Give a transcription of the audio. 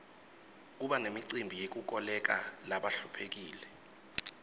kuba nemicimbi yekukolekela labahluphekile